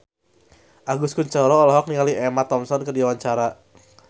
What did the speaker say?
Agus Kuncoro olohok ningali Emma Thompson keur diwawancara